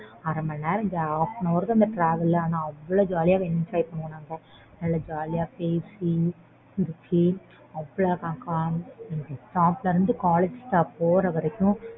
அரை மணி நேரம் hall an hour அந்த travel ஆனா அவ்ளோ jolly யா enjoy பண்ணுவோம் நல்லா jolly யா பேசி சிரிச்சி stop ல இருந்து college stop போற வரைக்கும்